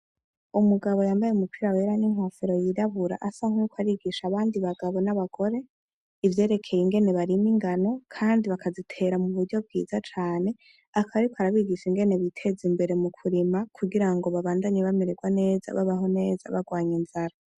Umugabo yambaye umupira wera n'inkofero yirabura asa n'uko ariko arigisha abandi bagabo n'abakore ivyerekeye ingene barima ingano kandi bakazitera mu buryo bwiza cane, akaba ariko arabigisha ingene biteza imbere mu kurima kugira ngo babandanye bamerewa neza, babaho neza, bagwanya inzara.